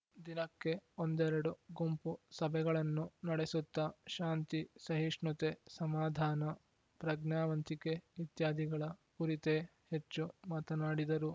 ದಿನಕ್ಕೆ ಒಂದೆರಡು ಗುಂಪು ಸಭೆಗಳನ್ನು ನಡೆಸುತ್ತಾ ಶಾಂತಿ ಸಹಿಷ್ಣುತೆ ಸಮಾಧಾನ ಪ್ರಜ್ಞಾವಂತಿಕೆ ಇತ್ಯಾದಿಗಳ ಕುರಿತೇ ಹೆಚ್ಚು ಮಾತನಾಡಿದರು